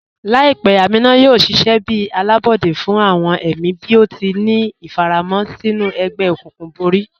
Laipẹ́ Ámínà yóò ṣiṣẹ̀ bí alábọdẹ̀ fún awọn ẹ̀mí bí ó tì ní ifàràmọ̀ sinú ègbè-òkùnkùn bọ̀rí.